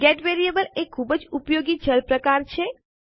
gate variable એ ખૂબ જ ઉપયોગી ચલ પ્રકાર છે